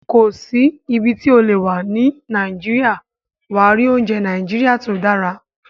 Kò sí ibi tí o lè wà ní Nàìjíríà, wà á rí oúnjẹ Nàìjíríà tó dára